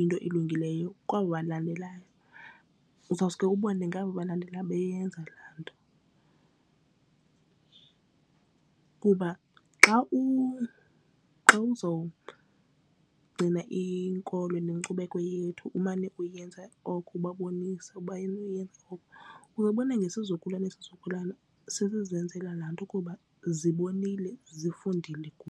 into elungileyo kwaba balandelayo. Uzawuske ubone ngaba abalandelayo beyenza la nto. Kuba xa uzowugcina inkolo nenkcubeko yethu umane uyenza oko ubabonise uba uzobona nesizukulwana seisizukulwana sizenzela lanto kuba zibonile zifundile kubo.